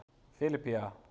Filippía